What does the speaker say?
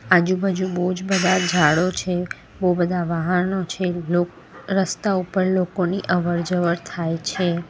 આજુ બાજુ બોજ બધા ઝાડો છે બો બધા વાહાનો છે લોક રસ્તા ઉપર લોકોની અવર જવર થાય છે.